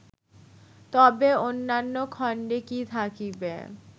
তবে অন্যান্য খণ্ডে কি থাকিবে